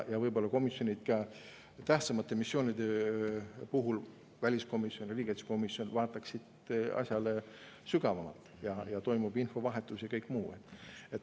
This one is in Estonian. Tähtsamate missioonide puhul võiksid väliskomisjon ja riigikaitsekomisjon vaadata asja sügavamalt, et toimuks infovahetus ja kõik muu.